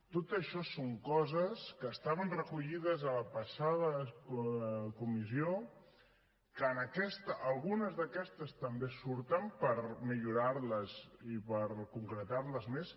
tot això són coses que estaven recollides a la passada comissió que en aquesta algunes d’aquestes també surten per millorar les i per concretar les més